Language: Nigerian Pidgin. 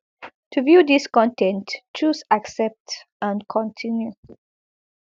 to view dis con ten t choose accept and continue